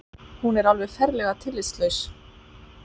Hún er alveg ferlega tillitslaus